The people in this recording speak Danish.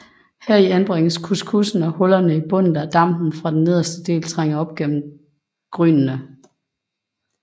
Heri anbringes couscoussen og hullerne i bunden lader dampen fra den nederste del trænge op gennem grynene